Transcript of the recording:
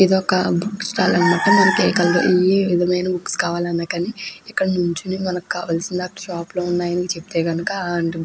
ఇది ఒక book stall అన్నమాట నిజమైన బుక్స్ కావాలి అన్న కానీ ఇక్కడ నిల్చొని మనకి కావలిసిన షాప్ లో ఉన్నాయ్ అని చెప్తే కనక ఆ --